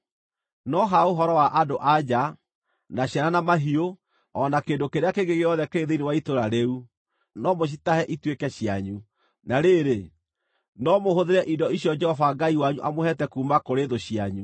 No ha ũhoro wa andũ-a-nja, na ciana, na mahiũ, o na kĩndũ kĩrĩa kĩngĩ gĩothe kĩrĩ thĩinĩ wa itũũra rĩu, no mũcitahe ituĩke cianyu. Na rĩrĩ, no mũhũthĩre indo icio Jehova Ngai wanyu amũheete kuuma kũrĩ thũ cianyu.